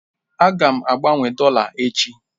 Aga m agbanwe dọla echi.